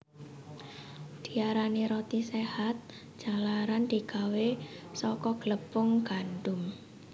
Diarani roti séhat jalaran digawé saka glepung gandum